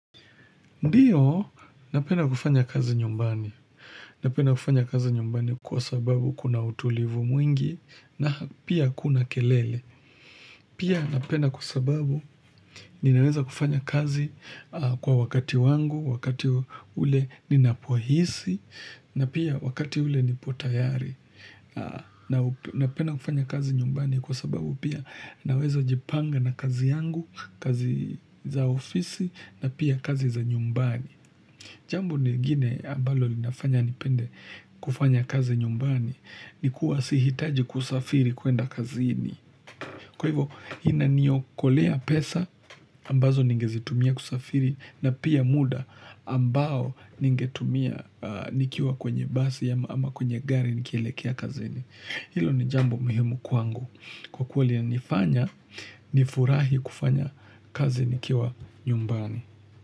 Ndiyo, napenda kufanya kazi nyumbani. Napenda kufanya kazi nyumbani kwa sababu kuna utulivu mwingi, na pia hakuna kelele. Pia napenda kwa sababu ninaweza kufanya kazi kwa wakati wangu, wakati ule ninapohisi, na pia wakati ule nipo tayari. Napenda kufanya kazi nyumbani kwa sababu pia naweza jipanga na kazi yangu, kazi za ofisi, na pia kazi za nyumbani. Jambo lingine ambalo linafanya nipende kufanya kazi nyumbani ni kuwa sihitaji kusafiri kuenda kazini. Kwa hivyo inaniokolea pesa ambazo ningezitumia kusafiri na pia muda ambao ningetumia nikiwa kwenye basi ama kwenye gari nikielekea kazini. Hilo ni jambo muhimu kwangu kwa kuwa linanifanya nifurahi kufanya kazi nikiwa nyumbani.